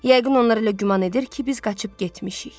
Yəqin onlar elə güman edir ki, biz qaçıb getmişik.